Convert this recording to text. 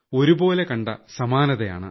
ഒരുപോലെ കണ്ട സമാനതയാണ്